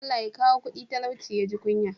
Allah Ya kawo kudi talauci ya ji kunya?